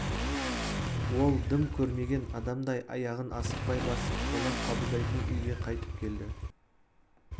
ол дым көрмеген адамдай аяғын асықпай басып қонақ қабылдайтын үйге қайтып келді